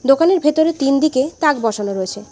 দোকানের ভেতরে তিনদিকে তাঁক বসানো রয়েছে।